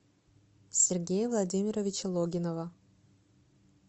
сергея владимировича логинова